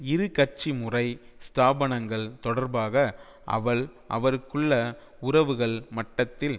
இருகட்சி முறை ஸ்தாபனங்கள் தொடர்பாக அவள்அவருக்குள்ள உறவுகள் மட்டத்தில்